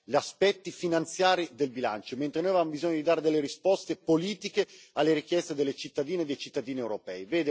agli aspetti finanziari del bilancio, mentre noi avevamo bisogno di dare delle risposte politiche alle richieste delle cittadine e dei cittadini europei.